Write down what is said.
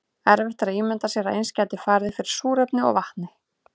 erfitt er að ímynda sér að eins gæti farið fyrir súrefni og vatni